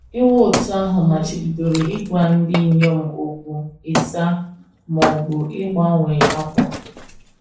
Iwu òtù ahụ machibidoro ịgwa ndị inyom okwu, ịsa, ma ọ bụ ịgbanwe ákwà.